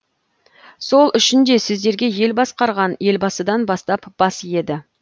сол үшін де сіздерге ел басқарған елбасыдан бастап бас иеді